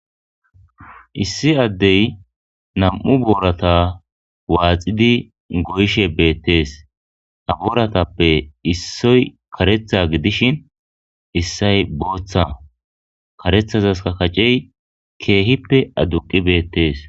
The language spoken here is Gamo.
issi addey nam7u boorata waaxidi goyishe beettees abooratappe issoy karetha gidishin issay booththa karethazaska kacey keehippe adduqi beettees